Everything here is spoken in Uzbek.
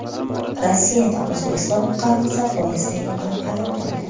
Rossiyada O‘zbekiston fuqarosi poyezddan yiqilib halok bo‘ldi.